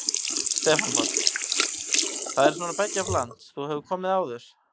Stefán Páll: Það er svona beggja blands, þú hefur komið áður?